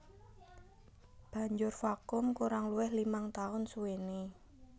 Banjur vakum kurang luwih limang taun suwené